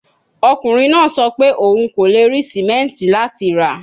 Ọkunrin naa sọ pe oun ko le ri simenti lati ra